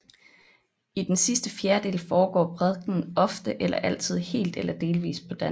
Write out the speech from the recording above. I den sidste fjerdedel foregår prædikenen ofte eller altid helt eller delvis på dansk